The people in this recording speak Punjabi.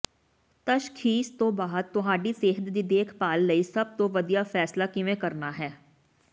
ਤਸ਼ਖ਼ੀਸ ਤੋਂ ਬਾਅਦ ਤੁਹਾਡੀ ਸਿਹਤ ਦੀ ਦੇਖਭਾਲ ਲਈ ਸਭ ਤੋਂ ਵਧੀਆ ਫੈਸਲਾ ਕਿਵੇਂ ਕਰਨਾ ਹੈ